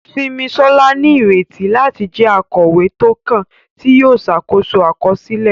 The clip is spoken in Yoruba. Simisola ní ìrètí láti jẹ́ akọ̀wé tó kàn, tí yóò ṣàkóso àkọsílẹ̀.